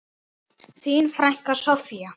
Þín frænka, Soffía.